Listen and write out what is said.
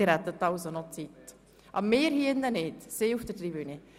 Dies gilt nicht für die Personen im Grossratssaal, sondern nur für jene auf der Tribüne.